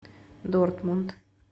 дортмунд